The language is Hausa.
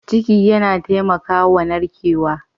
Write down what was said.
Ciki yana taimakawa narkewa.